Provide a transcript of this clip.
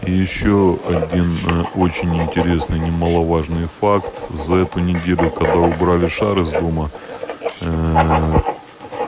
и ещё один очень интересный немаловажный факт за эту неделю когда убрали шар из дома